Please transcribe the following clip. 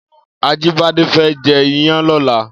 Ajibade fè jè iyàn lòlá